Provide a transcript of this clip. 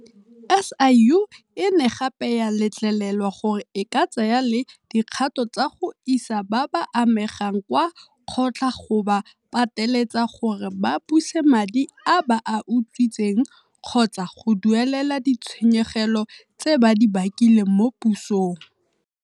SIU e ne gape ya letlelelwa gore e ka tsaya le dikgato tsa go isa ba ba amegang kwa kgotla go ba pateletsa gore ba buse madi a ba a utswitseng kgotsa go duelela ditshenyegelo tse ba di bakileng mo pusong.